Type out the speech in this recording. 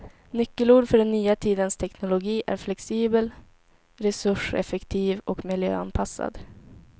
Nyckelord för den nya tidens teknologi är flexibel, resurseffektiv och miljöanpassad.